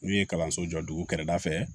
N'u ye kalanso jɔ dugu kɛrɛ la fɛ